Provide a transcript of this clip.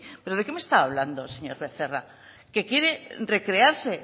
pero de qué me estaba hablando señor becerra que quiere recrearse